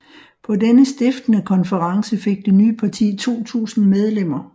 På denne stiftende konference fik det nye parti 2000 medlemmer